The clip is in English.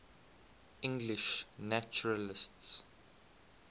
english naturalists